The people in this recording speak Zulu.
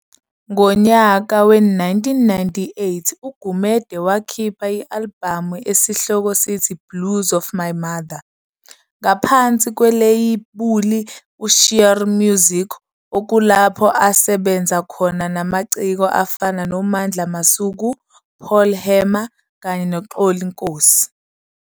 Ngonyaka we-1998 uGumede wakhipha alibhamu esihloko sithi "Blues for My Mother" ngaphansi kweleyibuli u-Sheer Music okulapho asebenza khona namaciko afana on Mandla Masuku, Paul Hammer kanye no Xoli Nkosi.